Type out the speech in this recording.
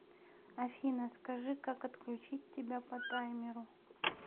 афина скажи как отключить тебя по таймеру